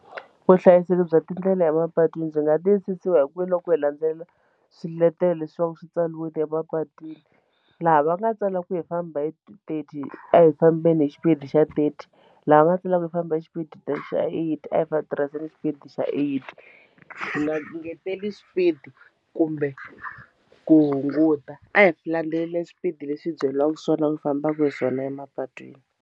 Vuhlayiseki bya tindlela emapatwini byi nga tiyisisiwa hi ku veni loko hi landzelela swiletelo leswaku swi tsariweke emapatwini laha va nga tsala ku hi famba hi thirty a hi fambeni hi xipidi xa thirty laha va tsala ku hi famba xipidi xa eighty a hi tirhiseni xipidi xa eighty hi nga ngeteli swipidi kumbe ku hunguta a hi landzeleli swipidi leswi hi byeliwaku swona hi fambaku hi swona emapatwini.